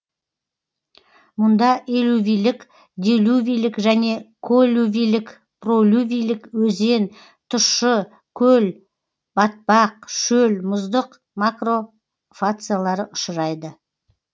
мұнда элювийлік делювийлік және коллювийлік пролювийлік өзен тұщы көл батпақ шөл мұздық макрофациялары ұшырайды